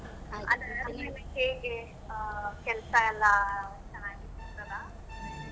ಹೇಗೆ ಕೆಲ್ಸ ಎಲ್ಲ ಚೆನ್ನಾಗಿರತದಾ?